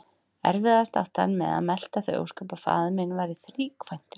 Erfiðast átti hann með að melta þau ósköp að faðir minn væri þríkvæntur.